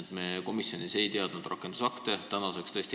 et me komisjonis ei näinud rakendusakte.